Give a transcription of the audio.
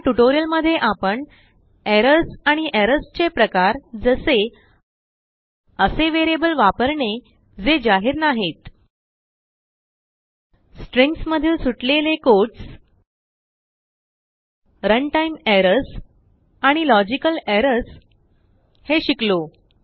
या ट्यूटोरियल मध्ये आपण एरर्सआणि एरर्सचे प्रकार जसे असे वेरियबल वापरणेजे जाहीर नाहीत stringsमधील सुटलेलेquotes रनटाईम errorsआणि लॉजिकल errorsहे शिकलो